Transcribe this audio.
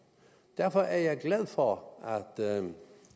derfor er jeg glad for at der